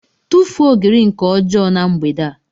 tufuo ogiri nke ọjọọ na mgbede a